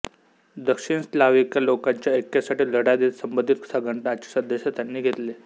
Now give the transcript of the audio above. दक्षिण स्लाव्हिक लोकांच्या ऐक्यासाठी लढा देत संबंधित संघटनांचे सदस्य त्यांनी घेतले